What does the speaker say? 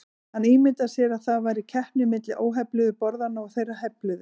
Hann ímyndaði sér að það væri keppni milli óhefluðu borðanna og þeirra hefluðu.